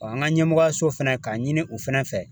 An ka ɲɛmɔgɔyaso fɛnɛ k'a ɲini u fɛnɛ fɛ.